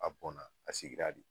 A bɔnna a sigira de